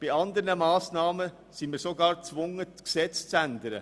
Bei anderen Massnahmen sind wir sogar gezwungen, das Gesetz zu ändern.